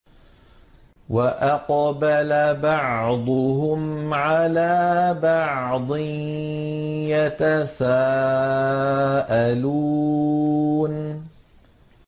وَأَقْبَلَ بَعْضُهُمْ عَلَىٰ بَعْضٍ يَتَسَاءَلُونَ